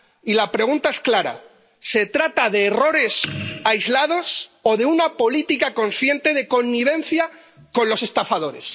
Y la pregunta es clara ¿se trata de errores aislados o de una política consciente de connivencia con los estafadores?